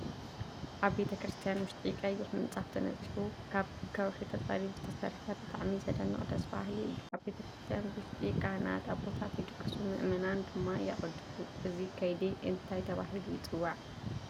ኣብ ቤተ-ክርስትያን ውሽጢ ቀይሕ ምፃፍ ተነፂፉ ካብ ብከውሒ ተፀሪቡ ዝተሰረሐ ብጣዕሚ ዘደንቅ ደስ በሃሊ እዩ። ኣብ ቤተ-ክርስትያን ውሽጢ ካሃናት ኣቦታት ይቅድሱ ምእመናን ድማ የቀዱሱ እዚ ከይዲ እዚ እንታይ ይበሃል?